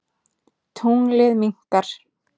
Tunglið minnkar.